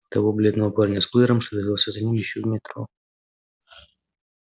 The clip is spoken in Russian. того бледного парня с плеером что увязался за ним ещё в метро